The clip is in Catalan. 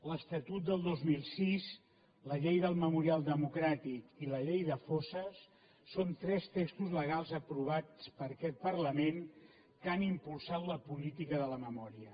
l’estatut del dos mil sis la llei del memorial democràtic i la llei de fosses són tres textos legals aprovats per aquest parlament que han impulsat la política de la memòria